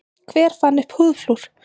Hver fann upp húðflúr?